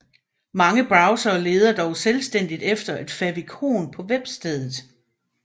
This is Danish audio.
Mange browsere leder dog selvstændigt efter et favicon på webstedet